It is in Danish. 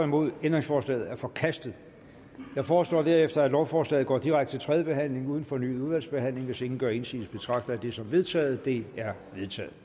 nul ændringsforslaget er forkastet jeg foreslår herefter at lovforslaget går direkte til tredje behandling uden fornyet udvalgsbehandling hvis ingen gør indsigelse betragter jeg det som vedtaget det er vedtaget